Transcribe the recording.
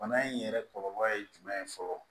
Bana in yɛrɛ kɔlɔlɔ ye jumɛn ye fɔlɔ